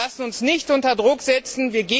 Wir lassen uns nicht unter Druck setzen.